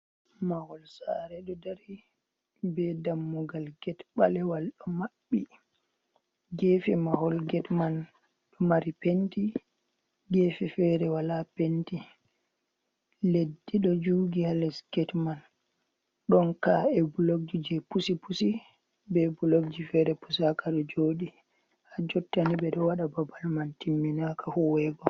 Mahol sare ɗo dari be dammugal get balewal ɗo mabbi, gefe mahol get man ɗo mari penti gefe fere wala penti, leddi ɗo juugi ha les get man, ɗon ka’e bulokji je pusi pusi be bulokji fere pusa ka ɗo jodi, ha jottany'i ɓe ɗo waɗa babal man timminaka huuwego.